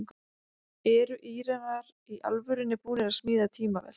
Eru Íranar í alvörunni búnir að smíða tímavél?